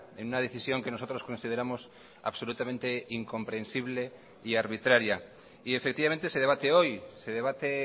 en una decisión que nosotros consideramos absolutamente incomprensible y arbitraria y efectivamente se debate hoy se debate